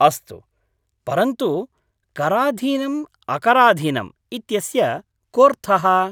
अस्तु, परन्तु, कराधीनम् अकराधीनम् इत्यस्य कोऽर्थः?